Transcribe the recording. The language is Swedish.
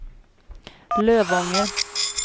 Lövånger